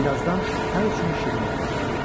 Birazdan hər üçünü şirin yuxa apardı.